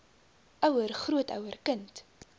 ouer grootouer kind